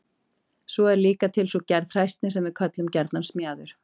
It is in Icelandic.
svo er líka til sú gerð hræsni sem við köllum gjarnan smjaður